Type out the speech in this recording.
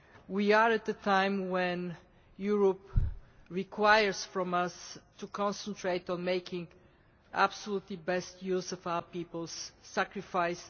We are at a time when Europe requires from us to concentrate on making absolutely best use of our people's sacrifice.